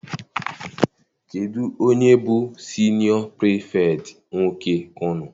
Kedụ onye bụ siniọ pirifektị nwoke unu?